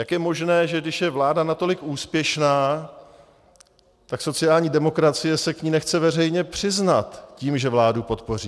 Jak je možné, že když je vláda natolik úspěšná, tak sociální demokracie se k ní nechce veřejně přiznat tím, že vládu podpoří.